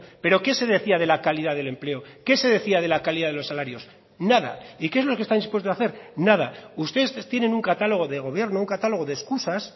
pero qué se decía de la calidad del empleo qué se decía de la calidad de los salarios nada y qué es lo que está dispuesto a hacer nada ustedes tienen un catálogo de gobierno un catálogo de excusas